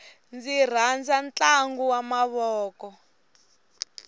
ndzi rhandza ntlangu wa mavoko